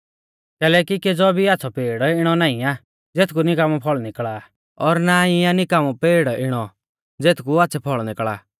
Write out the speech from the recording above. कैलैकि केज़ौ भी आच़्छ़ौ पेड़ इणौ नाईं आ ज़ेथकु निकामौ फल़ निकल़ा और ना ई आ निकामौ पेड़ इणौ ज़ेथकु आच़्छ़ै फल़ निकल़ा